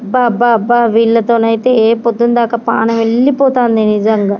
అబ్బా అబ్బా అబ్బా బిళ్ళతోనైతేనే పొద్దున్న దాక ప్రాణం యెల్లి పోతుంది నిజంగా.